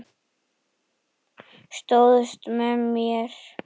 Stóðst með mér.